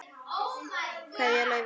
Kveðja, Laufey.